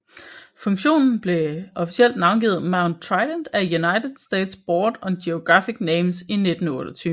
Funktionen blev officielt navngivet Mount Trident af United States Board on Geographic Names i 1928